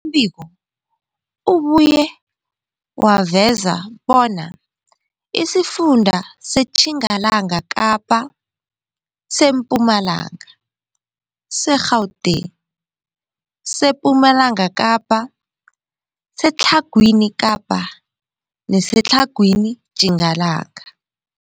biko ubuye waveza bona isifunda seTjingalanga Kapa, seMpumalanga, seGauteng, sePumalanga Kapa, seTlhagwini Kapa neseTlhagwini Tjingalanga.